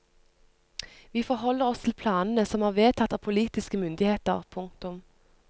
Vi forholder oss til planene som er vedtatt av politiske myndigheter. punktum